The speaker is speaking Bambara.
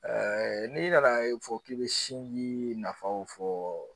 n'i nana fɔ k'i be sinji nafaw fɔ